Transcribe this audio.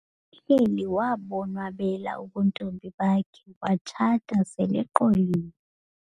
Uhleli wabonwabela ubuntombi bakhe watshata seleqolile.